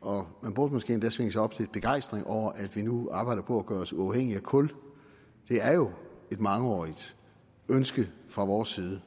og man burde måske endda svinge sig op til at begejstrede over at vi nu arbejder på at gøre os uafhængige af kul det er jo et mangeårigt ønske fra vores side